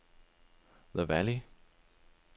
The Valley